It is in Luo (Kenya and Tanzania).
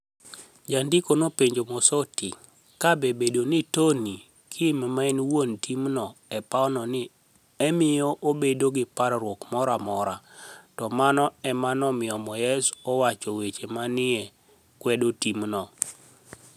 Janidiko nopenijo Mosoti kabe bedo gi Toniy kim ma eni wuoni timno e pawno ni e miyo obedo gi parruok moro amora, to mano ema nomiyo moyes owacho weche ma ni e kwedo timno.